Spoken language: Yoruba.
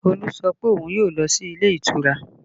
Olu sọ pé òun yóò lọ sí ilé ìtura